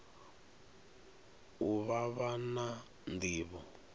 u vha vha na nḓivho